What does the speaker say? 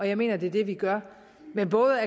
jeg mener at det er det vi gør med både